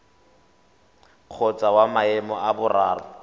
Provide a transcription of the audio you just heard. kgotsa wa maemo a boraro